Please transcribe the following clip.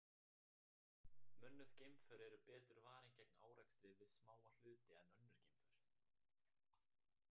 Mönnuð geimför eru betur varin gegn árekstri við smáa hluti en önnur geimför.